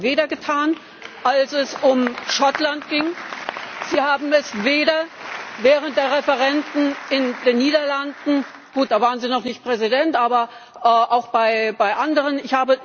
Sie haben das weder getan, als es um Schottland ging, Sie haben es weder während der Referenden in den Niederlanden gut, da waren Sie noch nicht Präsident noch bei anderen getan.